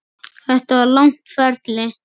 Þetta var langt ferli.